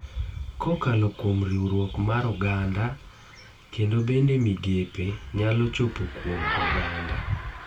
Kokalo kuom riwruok mar oganda kendo bende migepe nyalo chopo kuom oganda